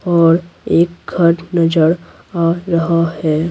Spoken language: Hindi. और एक घर नजर आ रहा है।